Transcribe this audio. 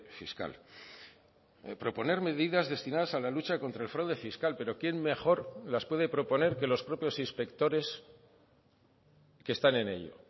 fiscal proponer medidas destinadas a la lucha contra el fraude fiscal pero quién mejor las puede proponer que los propios inspectores que están en ello